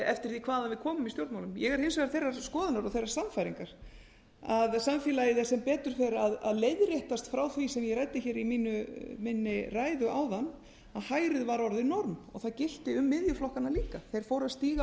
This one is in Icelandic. eftir því hvaðan við komum í stjórnmálum ég er hins vegar þeirrar skoðunar og þeirrar sannfæringar að samfélagið sé sem betur fer að leiðréttast frá því sem ég ræddi hér í minni ræðu áðan að hægrið var orðið norm og það gilti um miðjuflokkana líka þeir fóru að stíga